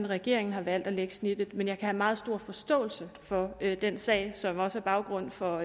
regeringen har valgt at lægge snittet men jeg har meget stor forståelse for den sag som også er baggrund for